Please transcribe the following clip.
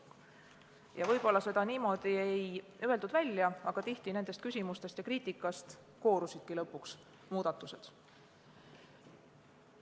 Ja kuigi seda niimoodi välja ei öeldud, koorusidki tihti just nendest küsimustest ja kriitikast lõpuks välja muudatused.